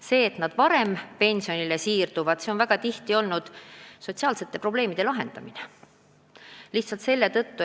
See, et inimesed varem pensionile siirduvad, on väga tihti sotsiaalsete probleemide lahendamine.